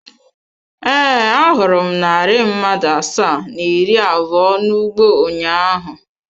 Ee, ahụrụ m narị mmadụ asaa na iri abụọ n’ugbo ụnyaahụ.